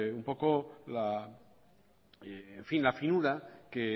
la finura que